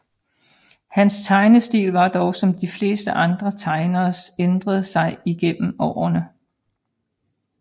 Hans tegnestil har dog som de fleste andre tegneres ændret sig igennem årene